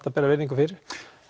að bera virðingu fyrir